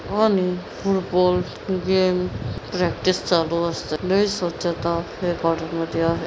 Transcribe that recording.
आणि football game practice चालू असते लई स्वच्छता या मध्ये आहे.